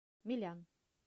милян